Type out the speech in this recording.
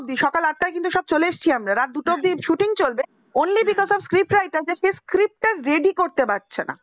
অব্দি, সকাল আটটা কিন্তু সব চলে এসেছি আমরা রাত দুটো অব্দি shooting চলবে only because of script writer যে script টা ready করতে পারছে না